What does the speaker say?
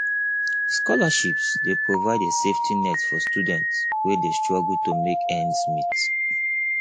scholarships dey provide a safety net for students wey dey struggle to make ends meet